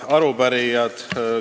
Head arupärijad!